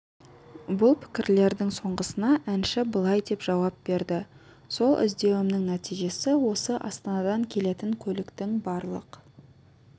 бұл пікірлердің соңғысына әнші былай деп жауап берді сол іздеуімнің нәтижесі осы астанадан келетін көліктің барлық